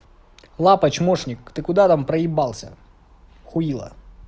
лапа чмошник ты куда там проебался хуила